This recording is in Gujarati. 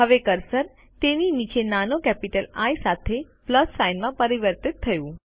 હવે કર્સર તેની નીચે નાનો કેપિટલ આઇ સાથે પ્લસ સાઇન માં પરિવર્તિત થયું